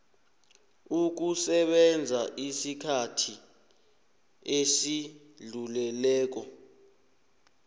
ukusebenza isikhathi esidluleleko